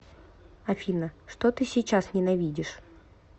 афина что ты сейчас ненавидишь